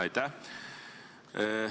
Aitäh!